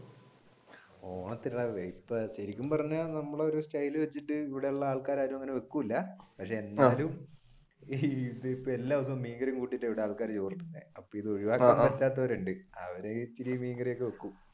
ശരിക്കും പറഞ്ഞ നമ്മുടെ ഒരു സ്റ്റൈൽ വെച്ചിട്ട് ഇവിടെയുള്ള ആൾകാർ ആരും അങ്ങനെ വെക്കൂല അവർ മീൻകറി ഒക്കെ വെക്കും.